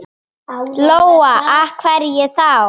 Lóa: Og af hverju þá?